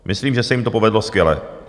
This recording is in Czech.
Myslím, že se jim to povedlo skvěle.